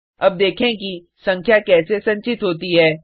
अब देखें कि संख्या कैसे संचित होती है